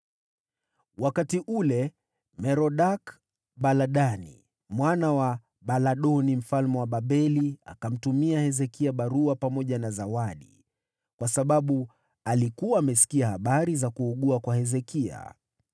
Wakati huo Merodaki-Baladani, mwana wa Baladani mfalme wa Babeli, akamtumia Hezekia barua na zawadi, kwa sababu alikuwa amesikia habari za kuugua kwa Hezekia.